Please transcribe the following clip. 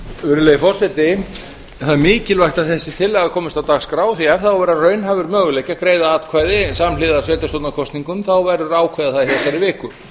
virðulegi forseti það er mikilvægt að þessi tillaga komist á dagskrá því að ef það á að vera raunhæfur möguleiki að greiða atkvæði samhliða sveitarstjórnarkosningum verður að ákveða það hér í þessari viku